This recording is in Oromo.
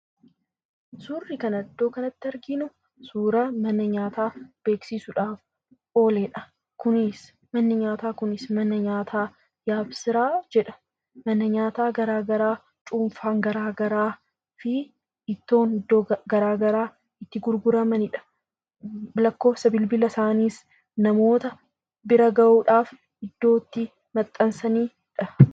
Suurri iddoo kanatti arginu, suuraa mana nyaataa beeksisuudhaaf ooledha. Kunis manni nyaataa kunis mana nyaataa Yaabsiraa jedha. Mana nyaataa garaagaraa, cuunfaan garaagaraa fi ittoon garaagaraa itti gurguramanidha. Lakkoofsa bilbila isaaniis namoota bira gahuudhaaf iddoo itti maxxansaniidha.